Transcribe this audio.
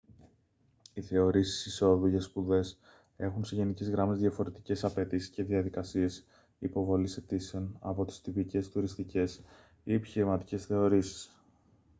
οι θεωρήσεις εισόδου για σπουδές έχουν σε γενικές γραμμές διαφορετικές απαιτήσεις και διαδικασίες υποβολής αιτήσεων από τις τυπικές τουριστικές ή επιχειρηματικές θεωρήσεις